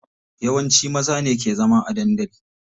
Yawanci maza ne ke zama a dandali.